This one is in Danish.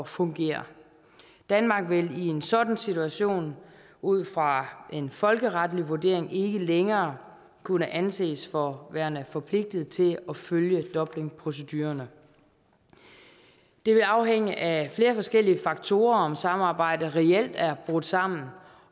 fungere danmark vil i en sådan situation ud fra en folkeretlig vurdering ikke længere kunne anses for værende forpligtet til at følge dublinprocedurerne det vil afhænge af flere forskellige faktorer om samarbejdet reelt er brudt sammen